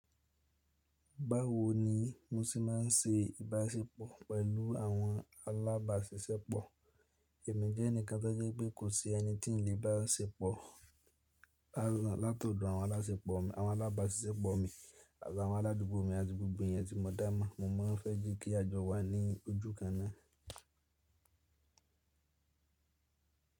Báwo ni mo ṣe má n se ìbáṣepọ̀ pẹ̀lú àwọn alábáṣiṣẹ́pọ̀? Ẹ̀mí jẹ́ ẹnìkan tó jẹ́ pé kò sí ẹni tí n lè bá ṣe pọ̀ látọ̀dọ̀ àwọn aláṣepọ̀ mi, àwọn alábáṣiṣẹ́pọ̀ mi àti àwọn aládùúgbò mi àti gbogbo ẹ̀yin tí mo dá mo. Mo má fẹ́ je kí a jọ wà ní ojú kan ná.